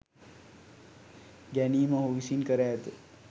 ගැනීම ඔහු විසින් කර ඇත.